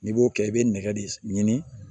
N'i b'o kɛ i bɛ nɛgɛ de ɲini